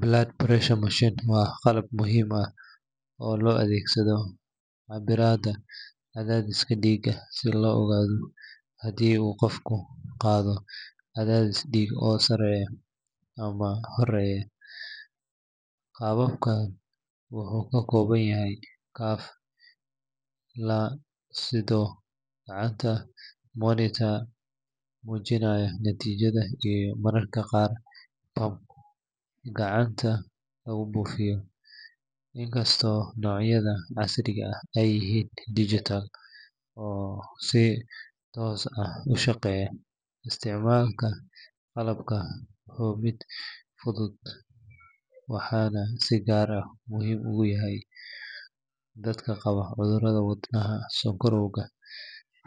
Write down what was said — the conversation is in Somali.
Blood pressure machine waa qalab muhiim ah oo loo adeegsado cabbiraadda cadaadiska dhiigga si loo ogaado haddii uu qofku qabo cadaadis dhiig oo sareeya ama hooseeya. Qalabkan wuxuu ka kooban yahay cuff la sudho gacanta, monitor muujinaya natiijada iyo mararka qaar pump gacanta lagu buufiyo, inkastoo noocyada casriga ah ay yihiin digital oo si toos ah u shaqeeya. Isticmaalka qalabkan waa mid fudud, waxaana si gaar ah muhiim ugu ah dadka qaba cudurrada wadnaha, sonkorowga